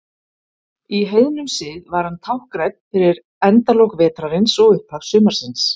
Í heiðnum sið var hann táknrænn fyrir endalok vetrarins og upphaf sumarsins.